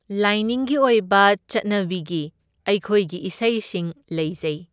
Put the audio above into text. ꯂꯥꯏꯅꯤꯡꯒꯤ ꯑꯣꯏꯕ ꯆꯠꯅꯕꯤꯒꯤ ꯑꯩꯈꯣꯏꯒꯤ ꯏꯁꯩꯁꯤꯡ ꯂꯩꯖꯩ꯫